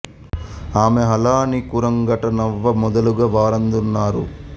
ఆమో హళా నీ కురంగట నవ్వ మొదలుగ వారంద రున్నారు